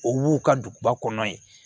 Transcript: O b'u ka duguba kɔnɔ yen